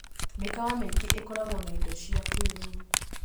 Mĩkawa mĩingĩ ĩkoragwo na indo cia kĩĩrĩu.